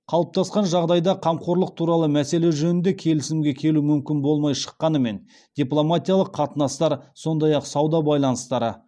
қалыптасқан жағдайда қамқорлық туралы мәселе жөнінде келісімге келу мүмкін болмай шыққанымен дипломатиялық қатынастар сондай ақ сауда байланыстары